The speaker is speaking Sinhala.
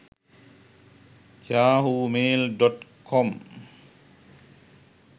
yahoo mail.com